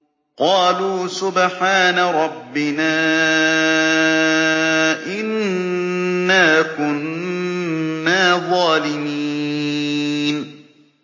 قَالُوا سُبْحَانَ رَبِّنَا إِنَّا كُنَّا ظَالِمِينَ